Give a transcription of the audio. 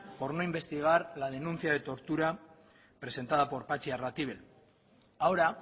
por no investigar la denuncia de tortura presentada por patxi arratibel ahora